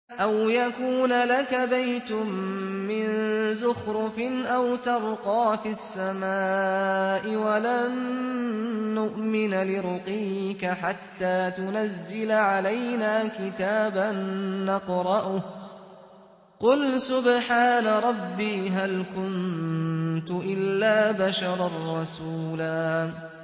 أَوْ يَكُونَ لَكَ بَيْتٌ مِّن زُخْرُفٍ أَوْ تَرْقَىٰ فِي السَّمَاءِ وَلَن نُّؤْمِنَ لِرُقِيِّكَ حَتَّىٰ تُنَزِّلَ عَلَيْنَا كِتَابًا نَّقْرَؤُهُ ۗ قُلْ سُبْحَانَ رَبِّي هَلْ كُنتُ إِلَّا بَشَرًا رَّسُولًا